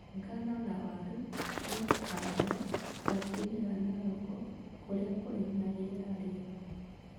Ng'ano na waru nĩ kũhandwo kauntĩ-inĩ ya Narok kũrĩa kũrĩ na rĩera rĩega.